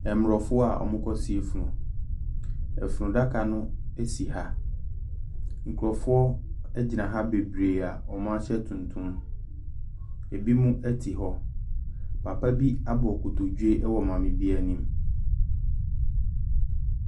Mmorɔfo a ɔmo kɔ sie funu Efunu adaka no esi ha. Nkurofoɔ egyina ha bebree a ɔmo ahyɛ tuntum. Ebinom ɛte hɔ. Papa bi abu nkotodwe ɛwɔ maame bi anim.